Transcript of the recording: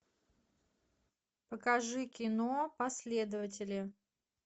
покажи кино последователи